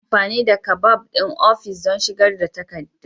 Ana amfani da kabad ɗin ofis don shigar da takardu.